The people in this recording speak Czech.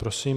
Prosím.